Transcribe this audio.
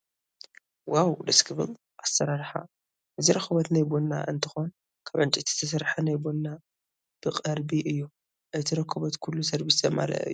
ዋው ደስ ክብል ኣሰራርሓ፤ እዚ ረኮቦት ናይ ቡና እንትኮን ካብ ዕንጨይቲ ዝተሰርሓ ናይ ቡና በቅረቢ እዩ። እቲ ረኮበት ኩሉ ሰርቡሱ ዘማለአ እዩ።